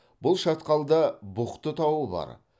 бұл шатқалда бұхты тауы бар